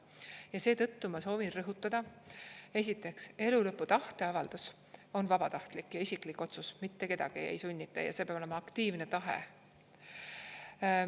Ja seetõttu ma soovin rõhutada, esiteks, elulõpu tahteavaldus on vabatahtlik ja isiklik otsus, mitte kedagi ei sunnita, see peab olema aktiivne tahe.